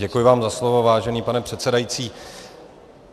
Děkuji vám za slovo, vážený pane předsedající.